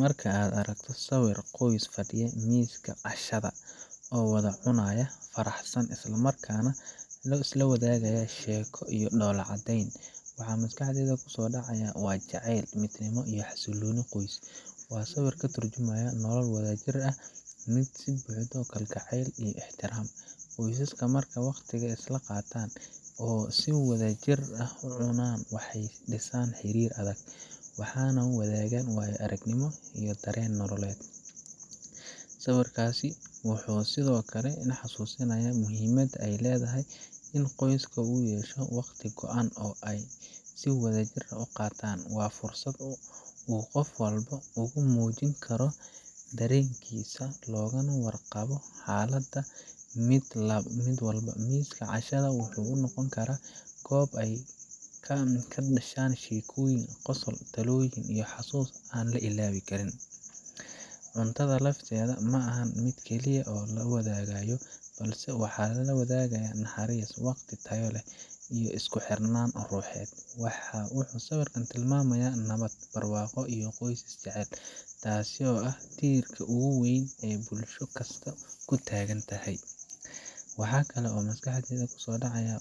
Marka aan arko sawir qoys fadhiya miiska cashada oo wada cunaya, faraxsan, isla markaana la wadaagaya sheeko iyo dhoolla-caddayn, waxa maskaxdayda ku soo dhaca waa jacayl, midnimo iyo xasillooni qoys. Waa sawir ka turjumaya nolol wadajir ah, mid ay ka buuxdo kalgacayl iyo ixtiraam. Qoysaska marka ay waqtiga isla qaataan oo si wadajir ah u cunaan, waxay dhisaan xiriir adag, waxayna wadaagaan waayo aragnimo iyo dareen nololeed. Sawirkaas wuxuu sidoo kale i xasuusinayaa muhiimadda ay leedahay in qoyska uu yeesho waqti go'an oo ay si wadajir ah u qaataan waa fursad uu qof walba ugu muujin karo dareenkiisa, loogana warqabo xaaladda mid walba. Miiska cashada wuxuu noqon karaa goob ay ka dhashaan sheekooyin, qosol, talooyin iyo xasuus aan la ilaabi karin. Cuntada lafteeda ma aha midda keliya ee la wadaagayo, balse waxaa la wadaagayaa naxariis, waqti tayo leh, iyo isku xirnaan ruuxeed. Wuxuu sawirku tilmaamayaa nabad, barwaaqo iyo qoys is-jecel taasoo ah tiirka ugu weyn ee bulsho kasta ku taagan tahay. Waxaa kale oo maskaxda ku soo dhaca